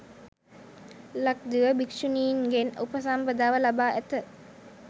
ලක්දිව භික්‍ෂුණීන්ගෙන් උපසම්පදාව ලබා ඇත